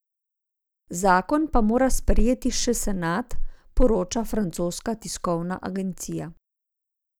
Zakon pa mora sprejeti še senat, poroča francoska tiskovna agencija.